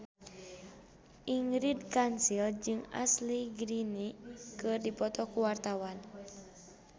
Ingrid Kansil jeung Ashley Greene keur dipoto ku wartawan